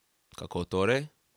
Kako torej?